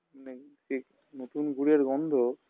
নেই জি নতুন গুড়ের গন্ধ